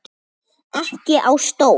Ekki á stól.